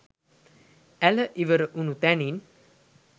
ඇළ ඉවර වුණ තැනින්